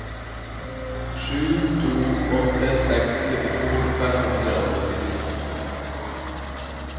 sju to åtte seks syttito fem hundre og syttini